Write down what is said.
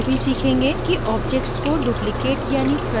आप यह भी सीखेंगे कि: objects को duplicate यानि प्रतिलिपि कैसे बनाते हैं